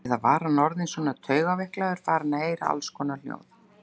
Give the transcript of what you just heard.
Eða var hann orðinn svona taugaveiklaður, farinn að heyra allskonar hljóð?